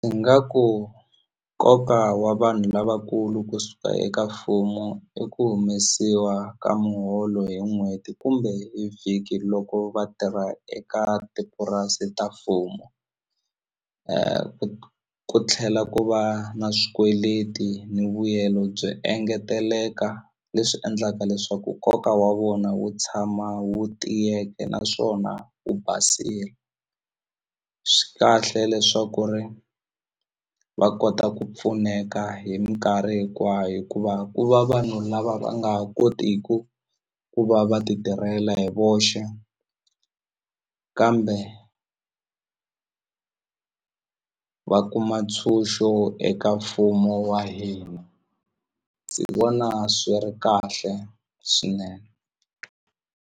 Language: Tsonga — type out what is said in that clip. I nga ku nkoka wa vanhu lavakulu kusuka eka mfumo i ku humesiwa ka muholo hi n'hweti kumbe hi vhiki loko vatirha eka tipurasi ta mfumo ku tlhela ku va na swikweleti ni vuyelo byi engeteleka leswi endlaka leswaku nkoka wa vona wu tshama wu tiyeke naswona wu basile swi kahle leswaku ri va kota ku pfuneka hi minkarhi hinkwayo hikuva ku va vanhu lava va nga ha kotiku ku va va ti tirhela hi voxe kambe va kuma ntshunxo eka mfumo wa hina ndzi vona swi ri kahle swinene.